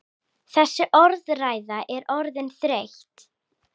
Þessi orðræða er orðin þreytt!